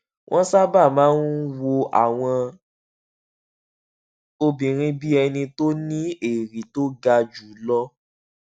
wón sábà máa ń wo àwọn obìnrin bí ẹni tó ní èrí tó ga jù lọ